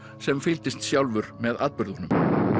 sem fylgdist sjálfur með atburðunum